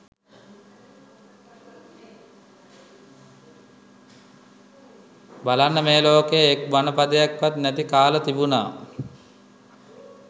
බලන්න මේ ලෝකයේ එක් බණ පදයක්වත් නැති කාල තිබුණා.